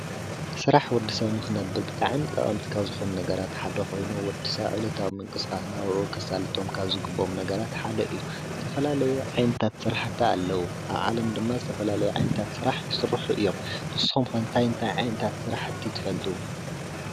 ስራሕ ንወዲ ሰብ ንክነብር ብጣዕሚ ጠቀምቲ ካብ ዝኮኑ ነገራት ሓደ ኮይኑ ወዲ ሰብ ዕለታዊ ምንቅስቃስ ናብርኡ ከሳልጦ ካብ ዝግበኦም ነገራት ሓደ እዩ፡፡ ዝተፈላለዩ ዓይነታት ስራሕ ኣለዉ፡፡ ኣብ ዓለም ድማ ዝተፈላለዩ ዓይነታት ስራሕ ይስርሑ እዮም፡፡ ንስኩም ከ እንታይ እንታይ ዓይነት ስራሕቲ ትፈልጡ?